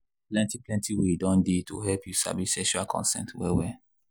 plenty plenty way don dey to help you sabi sexual consent well well